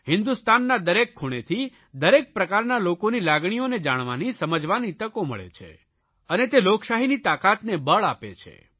હિંદુસ્તાનના દરેક ખૂણેથી દરેક પ્રકારના લોકોની લાગણીઓને જાણવાની સમજવાની તકો મળે છે અને તે લોકશાહીની તાકાતને બળ આપે છે